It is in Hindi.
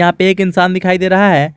यहां पे एक इंसान दिखाई दे रहा है।